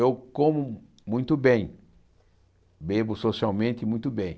Eu como muito bem, bebo socialmente muito bem.